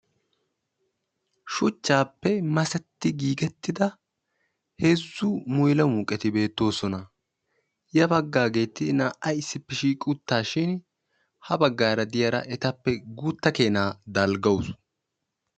Shuchchappe masetti giigidda heezzu mulamuqqetti beetosonna ettappe issinna guuta dalggawusu.